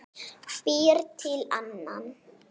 Býr til annan.